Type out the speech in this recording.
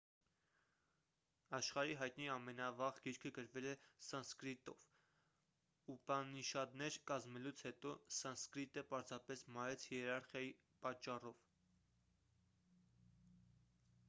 աշխարհի հայտնի ամենավաղ գիրքը գրվել է սանսկրիտով ուպանիշադներ կազմելուց հետո սանսկրիտը պարզապես մարեց հիերարխիայի պատճառով